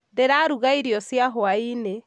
ndĩraruga irio cia hwaĩ-inĩ